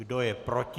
Kdo je proti?